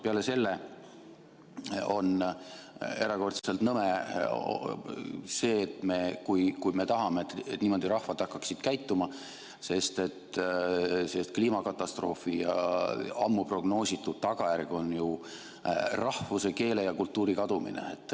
Peale selle on erakordselt nõme see, kui me tahame, et rahvad hakkaksid niimoodi käituma, sest kliimakatastroofi ammu prognoositud tagajärg on ju rahvuse, keele ja kultuuri kadumine.